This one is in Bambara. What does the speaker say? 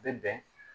A bɛ bɛn